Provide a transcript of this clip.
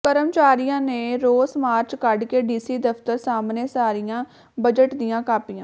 ਕਰਮਚਾਰੀਆਂ ਨੇ ਰੋਸ ਮਾਰਚ ਕੱਢਕੇ ਡੀਸੀ ਦਫ਼ਤਰ ਸਾਹਮਣੇ ਸਾੜ੍ਹੀਆਂ ਬਜਟ ਦੀਆਂ ਕਾਪੀਆਂ